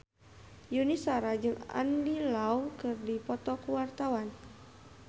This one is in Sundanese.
Yuni Shara jeung Andy Lau keur dipoto ku wartawan